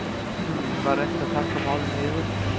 Var reynt að þagga málið niður